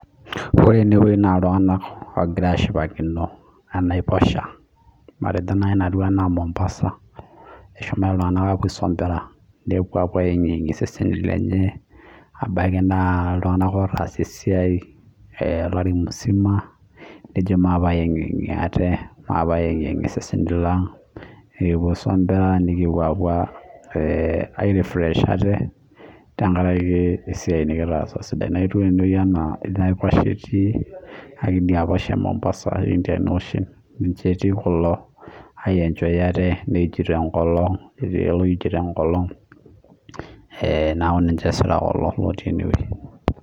ore enewueji naa iltunganak oogira aengiyengie iseseni lenye tenkalo enaiposha naijo noo mombaasa kidimayu netaasa esiai olari musima neeku kegira aengiyanga, egira aiij enkolon